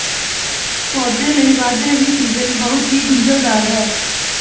ਪੌਦੇ ਲਈ ਵਧ ਰਹੀ ਸੀਜ਼ਨ ਬਹੁਤ ਹੀ ਗੁੰਝਲਦਾਰ ਹੈ